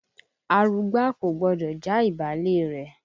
Arugbá kò gbọdọ̀ já ìbálé rẹ̀.